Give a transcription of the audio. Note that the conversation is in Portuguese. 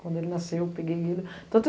Quando ele nasceu, eu peguei ele. Tanto